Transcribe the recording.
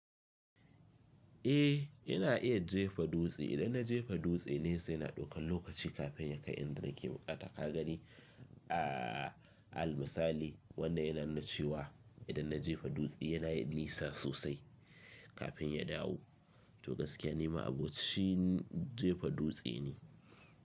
Eh, ina iya jefa dutse. Idan na jefa dutse nesa yi na ɗaukan lokaci kafin ya kai inda nake bukata kaga dai. A almisali wannan yana nuna cewa idan na jefa dutse yinayin nisa sosai kafin ya dawo. To gaskiya ni ma abocin jefa dutse ne.